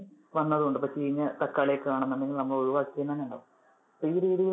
വരുന്നത് ഉണ്ട്, ഇപ്പൊ ചീഞ്ഞ തക്കാളി ഒക്കെ കാണുന്നുണ്ടെങ്കിൽ അത് ഒഴിവാക്കിയ അത് അങ്ങനെ ഉണ്ടാകും. അപ്പൊ ഈ രീതില്